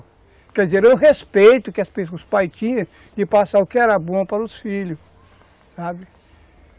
Quer dizer, eu respeito que os pais tinham de passar o que era bom para os filhos, sabe?